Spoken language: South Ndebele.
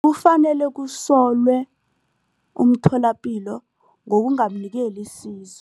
Kufanele kusolwe umtholapilo ngokungamnikeli isizo.